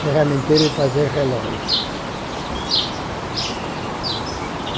ferramenteiro de fazer relógio.